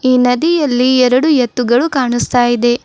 ಈ ನದಿಯಲ್ಲಿ ಎರಡು ಎತ್ತುಗಳು ಕಾಣಸ್ತಾ ಇದೆ.